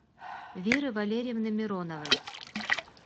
веры валерьевны мироновой